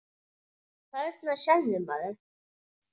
Þarna sérðu, maður.